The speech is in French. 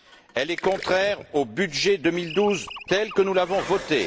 Elle est contraire au budget 2012 tel que nous l'avons voté.